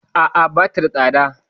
A'a, bata da tsada.